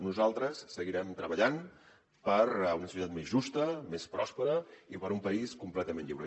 nosaltres seguirem treballant per una societat més justa més pròspera i per un país completament lliure